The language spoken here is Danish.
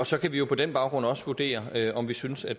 så kan vi på den baggrund også vurdere om vi synes at